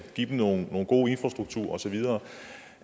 give dem nogle nogle gode infrastrukturer og så videre